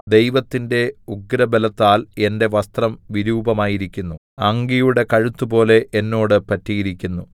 ദൈവത്തിന്റെ ഉഗ്രബലത്താൽ എന്റെ വസ്ത്രം വിരൂപമായിരിക്കുന്നു അങ്കിയുടെ കഴുത്തുപോലെ എന്നോട് പറ്റിയിരിക്കുന്നു